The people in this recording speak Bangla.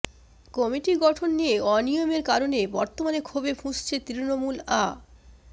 কমিটি গঠন নিয়ে অনিয়মের কারণে বর্তমানে ক্ষোভে ফুঁসছে তৃণমূল আ